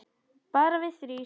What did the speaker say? Bara við þrír.